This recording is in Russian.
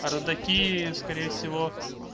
а родаки скорее всего